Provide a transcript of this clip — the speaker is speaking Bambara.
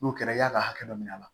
N'o kɛra i y'a ka hakɛ dɔ minɛ a la